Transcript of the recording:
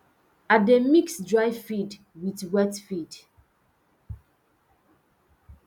i dey mix dry feed with wet feed